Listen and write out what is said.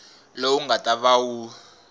lowu nga ta va wu